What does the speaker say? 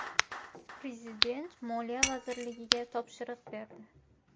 Prezident Moliya vazirligiga topshiriq berdi.